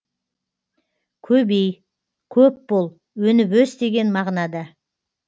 көбей көп бол өніп өс деген мағынада